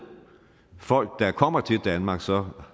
folk der kommer til danmark så